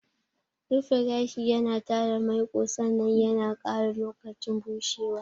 Rufe gashi yana tare maiƙo sannan yana ƙara lokacin bushewa.